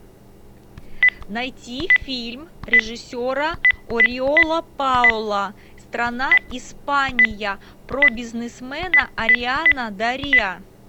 найти фильм режиссера ориола паоло страна испания про бизнесмена адриана дориа